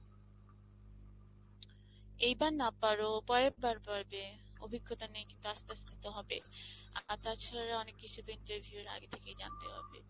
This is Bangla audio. এইবার না পারো পরের বার পড়বে অভিজ্ঞতা নেই কিন্তু আস্তে আস্তে তো হবে, আর তাছাড়া অনেক কিছুদিন interview এর আগে থেকেই তো জানতে হবে।